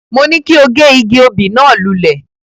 Mo ní kí o gé igi obì náà lulẹ̀.